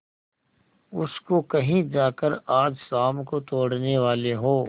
उसको कहीं जाकर आज शाम को तोड़ने वाले हों